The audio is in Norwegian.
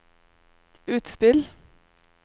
utspill